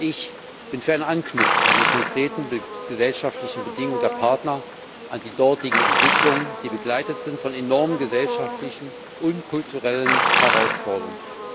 Ich bin für ein Anknüpfen an die konkreten gesellschaftlichen Bedingungen der Partner an die dortigen Entwicklungen, die begleitet sind von enormen gesellschaftlichen und kulturellen Herausforderungen.